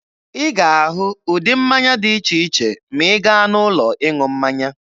Ị ga-ahụ ụdị mmanya dị iche iche ma ị gaa n'ụlọ ịṅụ mmanya.